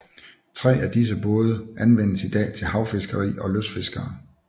Tre af disse både anvendes i dag til havfiskeri af lystfiskere